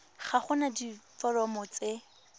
ga go na diforomo tse